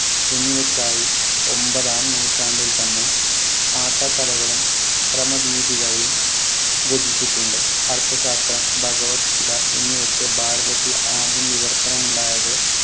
എന്നിവയ്ക്കായി ഒമ്പതാം നൂറ്റാണ്ടിൽ തന്നെ ആട്ടക്കഥകളും ക്രമദീപികയും രചിച്ചിട്ടുണ്ട് അർത്ഥശാസ്ത്രം ഭഗവത്ഗീത എന്നിവയ്ക്ക് ഭാരതത്തിൽ ആദ്യം വിവർത്തനം ഉണ്ടായത്